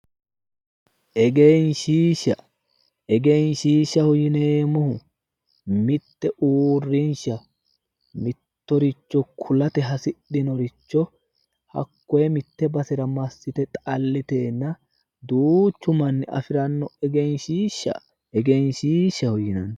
Egenshiisha egenshiishaho yineemohu mitte uurrinsha mittoricho kulate hasidhinoricho hakoye mitte basera massite xalliteenna duuchu manni afiranno egenshiisha egenshiishaho yineemo